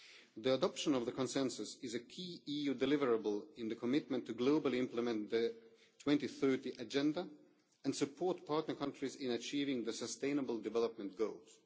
The adoption of the consensus is a key EU deliverable in the commitment to globally implement the 2030 Agenda and support partner countries in achieving the sustainable development goals.